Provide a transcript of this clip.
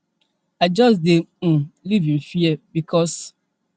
i just dey um live in fear bicos